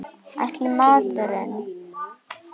Ætli maður hafi nú mikinn tíma fyrir bóklestur, Lolla mín.